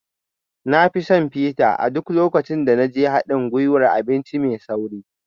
Na fi son fita a duk lokacin da na je haɗin gwiwar abinci mai sauri